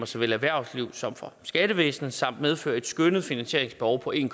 såvel erhvervslivet som for skattevæsenet samt medføre et skønnet finansieringsbehov på en